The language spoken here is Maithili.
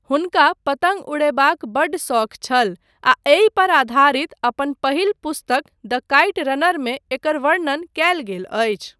हुनका पतङ्ग उड़यबाक बड्ड शौक छल आ एहि पर आधारित अपन पहिल पुस्तक द काइट रनर मे एकर वर्णन कयल गेल अछि।